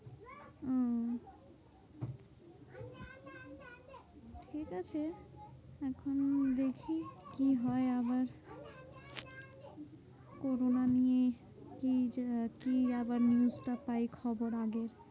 ঠিকাছে এখন দেখি কি হয় আবার corona নিয়েই কি যে কি আবার news টা পাই খবর আগে?